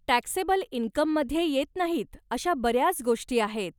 Taxable इनकममध्ये येत नाहीत अशा बऱ्याच गोष्टी आहेत.